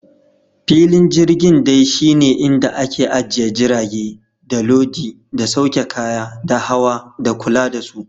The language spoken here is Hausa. Filin jirgin dai shi ne inda ake ajiye jirage, da lodi, da sauke kaya, da hawa, da kula da su.